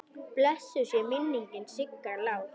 Blessuð sé minning Sigga Lár.